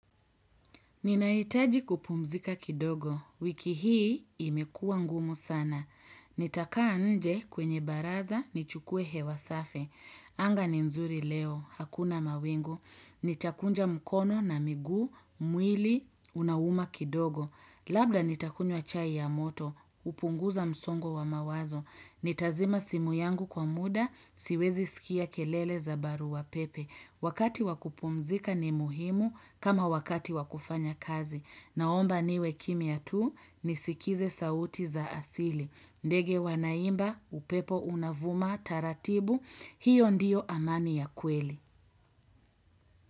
Ninahitaji kupumzika kidogo, wiki hii imekuwa ngumu sana. Nitakaa nje kwenye baraza, nichukue hewa safi. Anga ni nzuri leo, hakuna mawingu. Nitakunja mkono na miguu, mwili, unauma kidogo. Labda nitakunywa chai ya moto, hupunguza msongo wa mawazo. Nitazima simu yangu kwa muda, siwezi sikia kelele za barua pepe. Wakati wakupumzika ni muhimu kama wakati wakufanya kazi. Naomba niwe kimya tu nisikize sauti za asili. Ndege wanaimba, upepo unavuma, taratibu, hiyo ndiyo amani ya kweli.